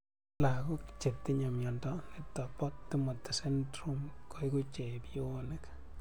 Lag�k chetinye miondo nitok po Timothy syndrome koeku chepionik